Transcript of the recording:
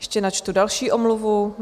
Ještě načtu další omluvu.